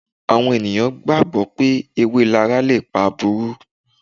ènìyàn gbàgbó pé èwé lara lépà àbúrú.